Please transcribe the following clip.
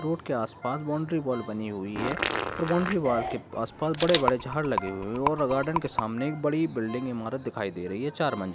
Road के आसपास boundary wall बनी हुई है और बाउन्ड्री वॉल के आसपास बड़े-बड़े झाड़ लगे हुए है और गार्डन के सामने एक बड़ी बिल्डिंग इमारत दिखाई दे रही है चार मंजिल।